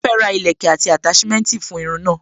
Mo fẹ́ ra ìlẹ́kẹ̀ àti attachment fún irun náà.